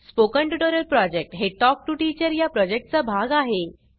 spoken tutorial project हे talk to teacher या project चा भाग आहे